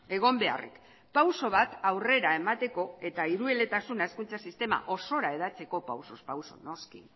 egon beharrik pauso bat aurrera emateko eta hirueletasuna hezkuntza sistema osora hedatzeko pausuz pausu noski